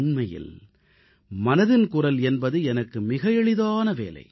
உண்மையில் மனதின் குரல் என்பது எனக்கு மிக எளிதான வேலை